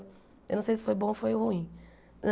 Eu não sei se foi bom ou foi ruim.